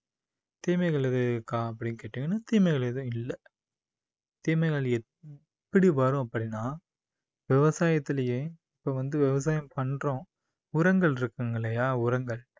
தீமைகள் எதுவும் இருக்கா அப்படின்னு கேட்டீங்கன்னா, தீமைகள் எதுவும் இல்ல. தீமைகள் எப்படி வரும் அப்படின்னா விவசாயதுலயே இப்போ வந்து விவசாயம் பண்றோம், உரங்கள் இருக்குங்கல்லையா உரங்கள்